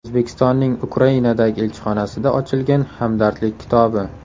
O‘zbekistonning Ukrainadagi elchixonasida ochilgan hamdardlik kitobi.